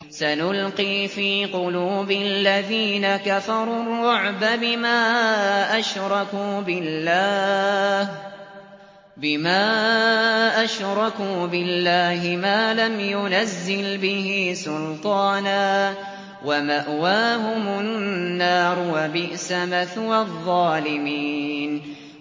سَنُلْقِي فِي قُلُوبِ الَّذِينَ كَفَرُوا الرُّعْبَ بِمَا أَشْرَكُوا بِاللَّهِ مَا لَمْ يُنَزِّلْ بِهِ سُلْطَانًا ۖ وَمَأْوَاهُمُ النَّارُ ۚ وَبِئْسَ مَثْوَى الظَّالِمِينَ